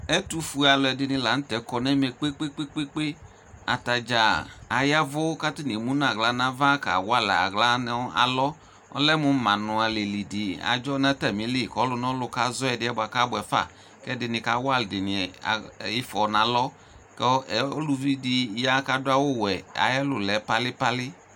Ɛtʋfue alʋɛdɩnɩ la n'tɛ kɔ n'ɛmɛ kpekpekpe, atadzaa ayavʋ, k'atanɩ emu n'aɣla n'ava kawalɛ aɣla nʋ alɔ; ɔlɛ mʋ manʋ alɛli dɩ adzɔ n'atamili kɔlʋnɔlʋ kazɔ ɛdɩ yɛ bua kʋ abʋɛ fa, k'ɛdɩnɩ kawa ɛdɩnɩ ɩfo 'n'alɔ, kʋ ulʋvi dɩ ya k'adʋ awʋ wɛ, atɛ lʋ lɛ palɩ palɩ